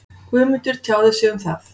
Guðmundur tjáði sig um það.